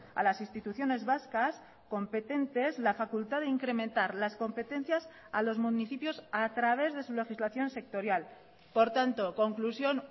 a las instituciones vascas competentes la facultad de incrementar las competencias a los municipios a través de su legislación sectorial por tanto conclusión